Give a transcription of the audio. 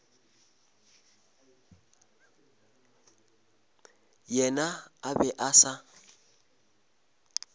yena a be a sa